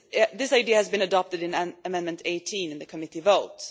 This idea was adopted in Amendment 18 in the Committee vote.